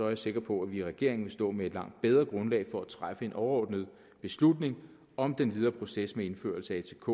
jeg sikker på at vi i regeringen vil stå med et langt bedre grundlag for at træffe en overordnet beslutning om den videre proces med indførelse af atk